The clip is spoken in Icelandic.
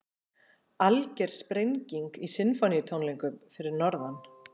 Alger sprenging í Sinfóníutónleikum fyrir norðan